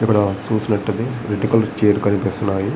ఇక్కడ చూసినట్లైతే red colour chair కనిపిస్తున్నాయి.